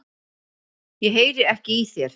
Ég heyri ekki í þér.